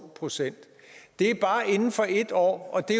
procent det er bare inden for et år og det